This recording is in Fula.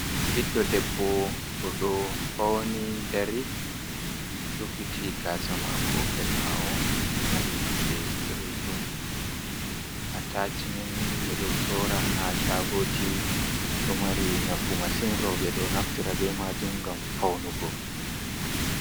Biɗɗo ɗebbo bo ɗo fauni ɗari rufiti gasa mako her bawo. Mari nonɗe boɗejum atachimenni be ɗo sora ha shagoji do mari nafu masin. Ro be do naftira be majum ngam faunugo.